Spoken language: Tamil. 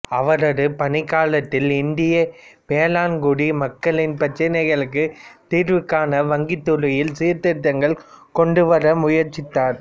அவரது பணிக்காலத்தில் இந்திய வேளாண்குடி மக்களின் பிரச்சனைகளுக்கு தீர்வு காண வங்கித் துறையில் சீர்திருத்தங்கள் கொண்டு வர முயற்சித்தார்